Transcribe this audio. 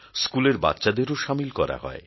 স্কুলের বাচ্চাদেরও সামিল করা হয়